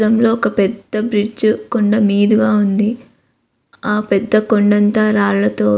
ఈ చిత్రంలో ఒక పెద్ద బ్రిడ్జి కొండ మీదుగా ఉంది. ఆ పెద్ద కొండంత రాళ్లతో--